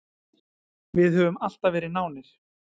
Við höfum alltaf verið nánir.